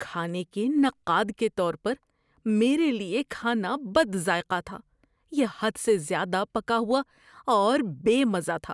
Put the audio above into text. کھانے کے نقاد کے طور پر، میرے لیے کھانا بد ذائقہ تھا۔ یہ حد سے زیادہ پکا ہوا اور بے مزہ تھا۔